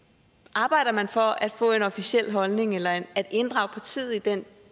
arbejder man for at få en officiel holdning eller at inddrage partiet i den